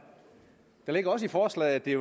det ligger også i forslaget at det